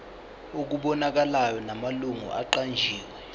okubonakalayo namalungu aqanjiwe